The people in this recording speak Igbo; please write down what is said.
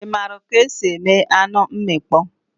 Ị maara ka esi eme anụ mmịkpọ?